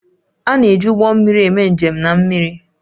A na-eji ụgbọ mmiri eme njem na mmiri